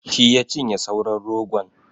Shi ya cinye sauran rogon.